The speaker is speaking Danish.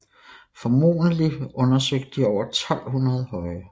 Formodentlig undersøgte de over 1200 høje